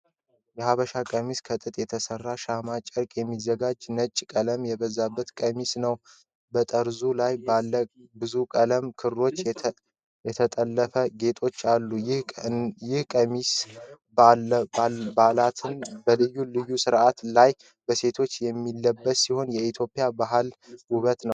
የሐበሻ ቀሚስ ከጥጥ በተሰራ ሸማ ጨርቅ የሚዘጋጅ፣ ነጭ ቀለም የበዛበት ቀሚስ ነው። በጠርዙ ላይ ባለ ብዙ ቀለም ክሮች የተጠለፈ ጌጦች አሉት። ይህ ቀሚስ በበዓላትና በልዩ ልዩ ስነ-ስርዓቶች ላይ በሴቶች የሚለበስ ሲሆን የኢትዮጵያን ባህል ውበት ነው።